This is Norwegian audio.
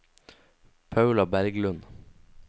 Paula Berglund